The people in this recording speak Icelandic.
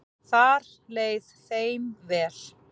Þar leið þeim vel.